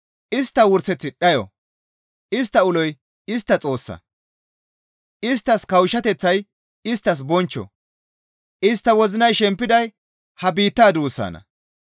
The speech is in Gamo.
Istta wurseththi dhayo; istta uloy istta Xoossa; isttas kawushshateththay isttas bonchcho; istta wozinay shempiday ha biittaa duussanna.